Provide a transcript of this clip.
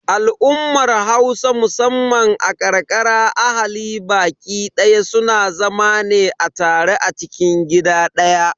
Al'ummar Hausa musamman a ƙarƙara ahali baƙi daya suna zama ne a tare a cikin gida ɗaya.